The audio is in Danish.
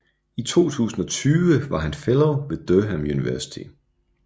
I 2020 var han fellow ved Durham University